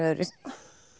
öðruvísi